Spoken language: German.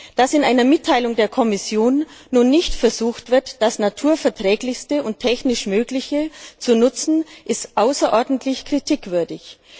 Dass in einer Mitteilung der Kommission nun nicht versucht wird, das Naturverträglichste und technisch Mögliche zu nutzen, ist außerordentlich kritikwürdig.